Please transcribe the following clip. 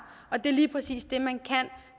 det er lige præcis det man kan